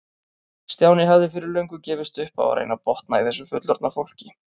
Stjáni hafði fyrir löngu gefist upp á að reyna að botna í þessu fullorðna fólki.